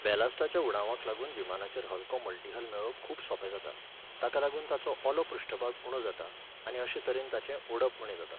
बॅलास्टाच्या उणावाक लागून विमानाचेर हलको मल्टीहल मेळोवप खूब सोंपें जाता, ताका लागून ताचो ओलो पृश्ठभाग उणो जाता आनी अशे तरेन ताचें ओडप उणें जाता.